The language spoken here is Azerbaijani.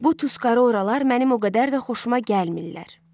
Bu Tuskaroralar mənim o qədər də xoşuma gəlmirlər.